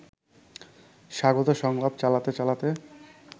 স্বাগত সংলাপ চালাতে চালাতে